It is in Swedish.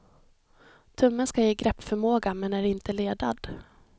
Tummen ska ge greppförmåga men är inte ledad.